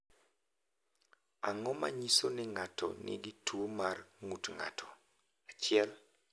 Ang’o ma nyiso ni ng’ato nigi tuwo mar ng’ut ng’ato, 1?